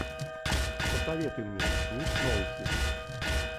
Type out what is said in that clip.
посоветуй мне ник нолти